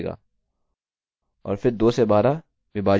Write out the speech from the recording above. अतः 2 से 12 विभाजित 6 देना चाहिए